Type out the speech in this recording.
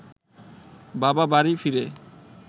বাবা বাড়ি ফিরে